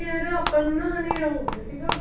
ਯਾਰ ਆਪਾਂ ਨੂੰ ਨਾ ਹਨੇਰਾ ਹੋ ਗਿਆ ਸੀਗਾ।